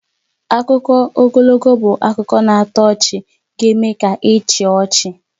Akụkọ ogologo bụ akụkọ na-atọ ọchị ga-eme ka ị chịa ọchị